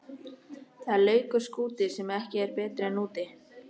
Það er lakur skúti sem ekki er betri en úti.